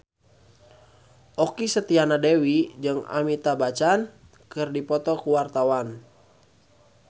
Okky Setiana Dewi jeung Amitabh Bachchan keur dipoto ku wartawan